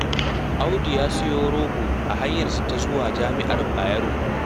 Audu ya sayi rogo a hanyarsa ta zuwa Jami'ar Bayero.